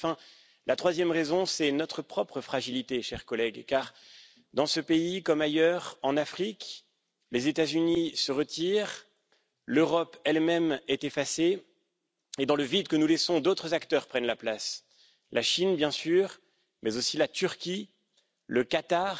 Enfin, la troisième raison, c'est notre propre fragilité, chers collègues, car dans ce pays, comme ailleurs en Afrique, les États Unis se retirent, l'Europe elle même est effacée et, dans le vide que nous laissons, d'autres acteurs prennent la place la Chine, évidemment, mais aussi la Turquie, le Qatar,